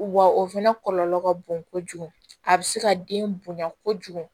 Wa o fɛnɛ kɔlɔlɔ ka bon kojugu a bɛ se ka den bonya kojugu